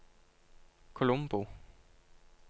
Colombo